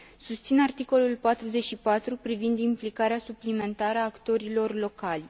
Susțin articolul 44 privind implicarea suplimentară a actorilor locali.